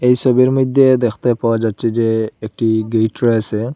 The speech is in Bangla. এই ছবির মইধ্যে দেখতে পাওয়া যাচ্ছে যে একটি গেইট রয়েসে।